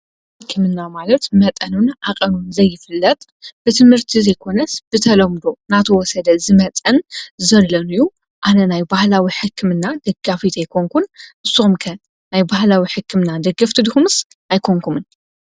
ባህላዊ ሕክምና ማለት መጠኑን ሓቐኑን ዘይፍለጥ ብትምህርቲ ዘይኮነስ ብተሎምዶ እናተወሰደ ዝመፀን ዘሎን እዩ፡፡ ኣነ ናይ ባህላዊ ሕክምና ደጋፊት ኣይኮንኩን፡፡ ንስኹም ከ ናይ ባህላዊ ሕክምና ደገፍቲ ድኹምስ ኣይኮንኩምን?